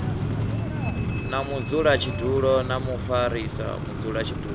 na mudzulatshidulo na mufarisa mudzulatshidulo